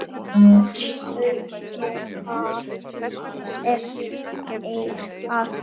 Sumir hafi sest hér að.